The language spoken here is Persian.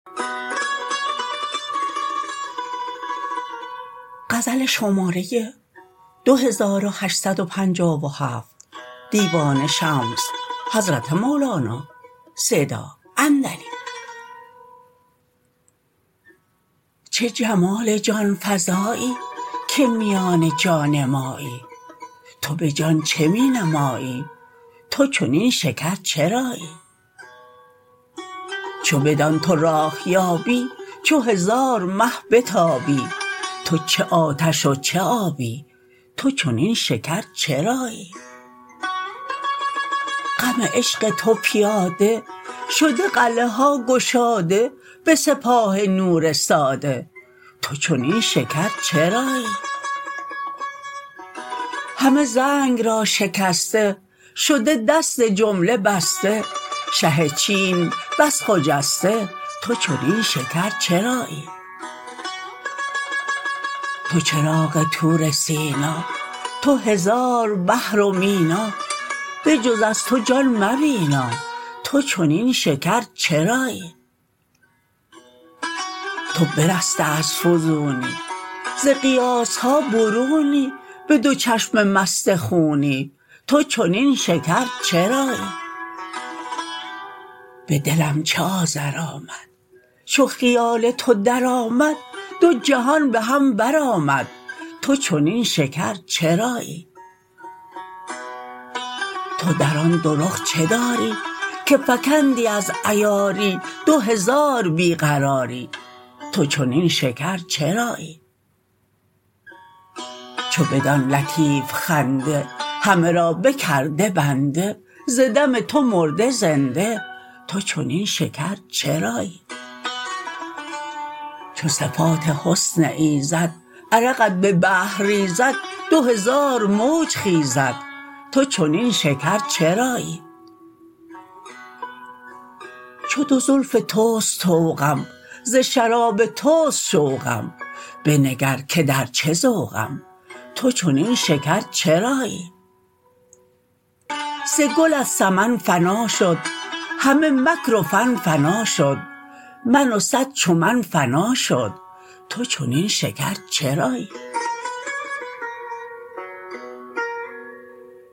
چه جمال جان فزایی که میان جان مایی تو به جان چه می نمایی تو چنین شکر چرایی چو بدان تو راه یابی چو هزار مه بتابی تو چه آتش و چه آبی تو چنین شکر چرایی غم عشق تو پیاده شده قلعه ها گشاده به سپاه نور ساده تو چنین شکر چرایی همه زنگ را شکسته شده دست جمله بسته شه چین بس خجسته تو چنین شکر چرایی تو چراغ طور سینا تو هزار بحر و مینا بجز از تو جان مبینا تو چنین شکر چرایی تو برسته از فزونی ز قیاس ها برونی به دو چشم مست خونی تو چنین شکر چرایی به دلم چه آذر آمد چو خیال تو درآمد دو جهان به هم برآمد تو چنین شکر چرایی تو در آن دو رخ چه داری که فکندی از عیاری دو هزار بی قراری تو چنین شکر چرایی چو بدان لطیف خنده همه را بکرده بنده ز دم تو مرده زنده تو چنین شکر چرایی چو صفات حسن ایزد عرقت به بحر ریزد دو هزار موج خیزد تو چنین شکر چرایی چو دو زلف توست طوقم ز شراب توست شوقم بنگر که در چه ذوقم تو چنین شکر چرایی ز گلت سمن فنا شد همه مکر و فن فنا شد من و صد چو من فنا شد تو چنین شکر چرایی